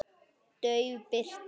Dauf birta.